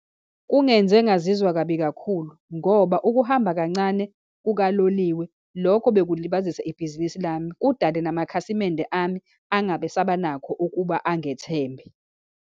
Kungenze ngazizwa kabi kakhulu, ngoba ukuhamba kancane kukaloliwe, lokho bekulibazisa ibhizinisi lami, kudale namakhasimende ami angabe esabanakho ukuba angethembe.